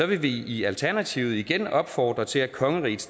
vil vi i alternativet igen opfordre til at kongeriget